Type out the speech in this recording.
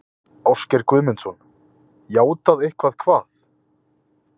Ágúst Guðmundsson: Játað eitthvað hvað?